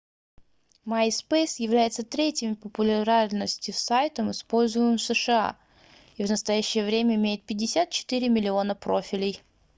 myspace является третьим по популярности сайтом используемым в сша и в настоящее время имеет 54 миллиона профилей